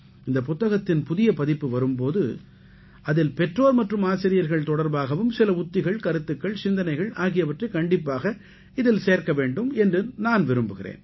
இந்தப் புத்தகத்தின் புதிய பதிப்பு வரும் போது அதில் பெற்றோர் மற்றும் ஆசிரியர்கள் தொடர்பாகவும் சில உத்திகள் கருத்துக்கள் சிந்தனைகள் ஆகியவற்றை கண்டிப்பாக இதில் சேர்க்க வேண்டும் என்று நான் விரும்புகிறேன்